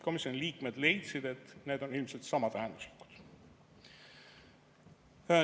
Komisjoni liikmed leidsid, et need on ilmselt samatähenduslikud.